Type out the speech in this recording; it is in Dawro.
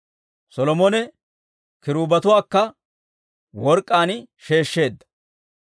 Solomone kiruubetuwaakka work'k'aan sheeshsheedda.